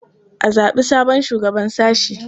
A zaɓi sabon shugaban sashe.